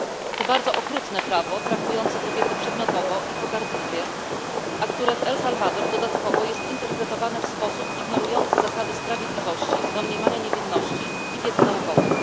To bardzo okrutne prawo traktujące kobiety przedmiotowo i pogardliwie, a które w Salwadorze jest dodatkowo interpretowane w sposób ignorujący zasady sprawiedliwości, domniemania niewinności i wiedzy naukowej.